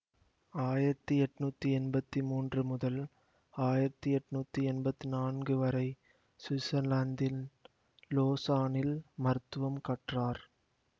ஆயிரத்தி எட்ணூத்தி எம்பத்தி மூன்று முதல் ஆயிரத்தி எட்ணூத்தி எம்பத்தி நான்கு வரை சுவிட்சர்லாந்தின் லோசானில் மருத்துவம் கற்றார்